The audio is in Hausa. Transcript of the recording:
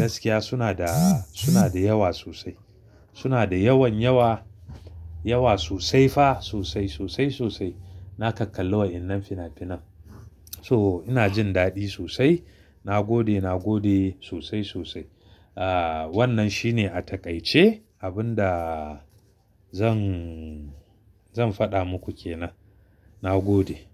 gaskiya suna da, suna da yawa sosai. Suna da yawan yawa, yawa sosai fa sosai, sosai, sosai. Na kak kallo wa innan fina-finan. So ina jin daɗi sosai. Na gode, na gode sosai, sosai. Ah wannan shi ne a taƙaice abun da zan, zan faɗa muku kenan. Na gode.